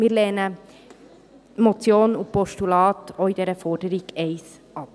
Wir lehnen die Motion und das Postulat auch in dieser Forderung 1 ab.